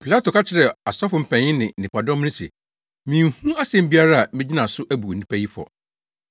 Pilato ka kyerɛɛ asɔfo mpanyin ne nnipadɔm no se, “Minhu asɛm biara a megyina so abu onipa yi fɔ.”